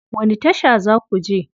Wani tasha za ku je?